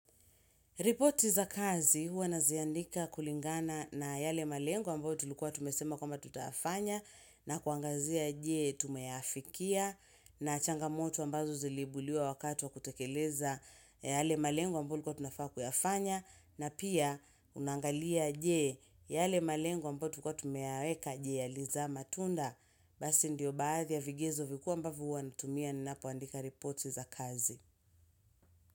Repoti za kazi huwa naziandika kulingana na yale malengo ambo tulukua tumesema kwa mba tutafanya na kuangazia jee tumeafikia na changamoto ambazo zilibuliwa wakatu wa kutekeleza yale malengu ambo lukua tunafaa kuyafanya na pia unangalia jee yale malengu ambo tukua tumeaweka jee ya liza matunda. Basi ndiyo baadhi ya vigezo vikuwa mbavu huwa natumia ninapuandika reporti za kazi.